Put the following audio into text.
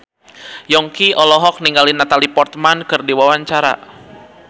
Yongki olohok ningali Natalie Portman keur diwawancara